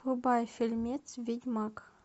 врубай фильмец ведьмак